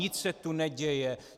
Nic se tu neděje.